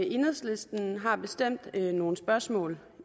enhedslisten har bestemt nogle spørgsmål